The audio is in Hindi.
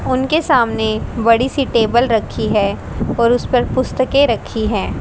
उनके सामने बड़ी सी टेबल रखी है और उसपे पर पुस्तके रखी है।